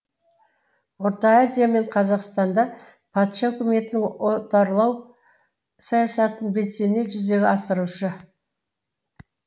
орта азия мен қазақстанда патша өкіметінің отарлау саясатын белсене жүзеге асырушы